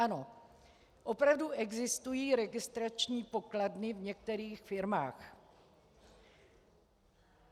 Ano, opravdu existují registrační pokladny v některých firmách.